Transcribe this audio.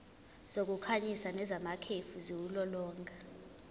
zokukhanyisa nezamakhefu ziwulolonga